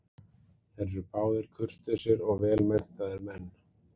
Þeir eru báðir kurteisir og vel menntaðir menn.